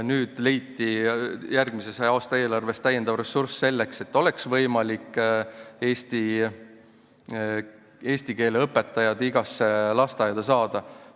Nüüd leiti järgmise aasta eelarves lisaressurss selleks, et eesti keele õpetajad oleks võimalik saada igasse lasteaeda.